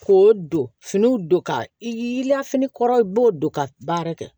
Ko don finiw don ka i lafini kɔrɔ i b'o don ka baara kɛ